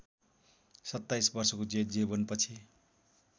सत्ताईस वर्षको जेल जीवनपछि